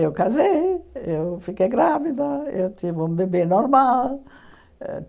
Eu casei, eu fiquei grávida, eu tive um bebê normal.